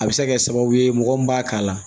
A bɛ se ka kɛ sababu ye mɔgɔ min b'a k'a la